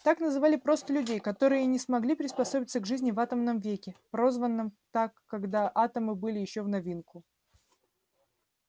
так называли просто людей которые не смогли приспособиться к жизни в атомном веке прозванном так когда атомы были ещё в новинку